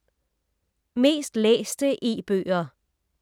Mest læste e-bøger